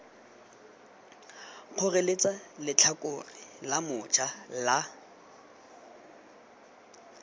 kgoreletsa letlhakore la moja la